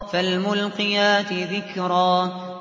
فَالْمُلْقِيَاتِ ذِكْرًا